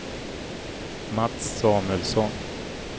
Mats Samuelsson